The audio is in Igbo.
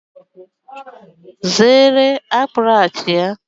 Zere akpuruachia!